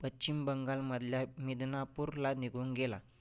पश्चिम बंगालमधल्या मिदनापूरला निघुन गेला.